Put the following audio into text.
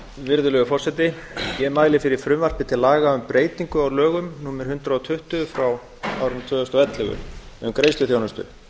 virðulegi forseti ég mæli fyrir frumvarpi til laga um breytingu á lögum númer hundrað og tuttugu tvö þúsund og ellefu um greiðsluþjónustu